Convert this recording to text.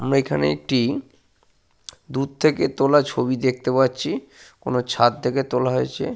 আমরা এখানে একটি দূর থেকে তোলা ছবি দেখতে পাচ্ছি। কোনো ছাদ থেকে তোলা হয়েছে।